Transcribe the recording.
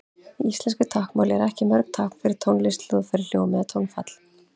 Í íslensku táknmáli eru ekki mörg tákn fyrir tónlist, hljóðfæri, hljóm eða tónfall.